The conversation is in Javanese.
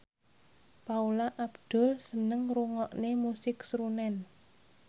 Paula Abdul seneng ngrungokne musik srunen